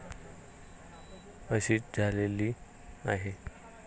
अशीच झालेली आहे.